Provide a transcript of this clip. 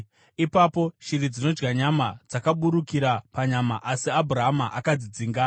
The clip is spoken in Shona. Ipapo shiri dzinodya nyama dzakaburukira panyama, asi Abhurama akadzidzinga.